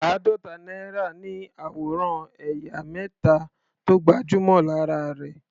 Àádọ́ta náírà ní àwòrán ẹ̀yà mẹ́ta tó gbajúmọ̀ lára rẹ̀.